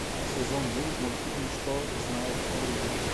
сезон девять мультфильма что знает оливия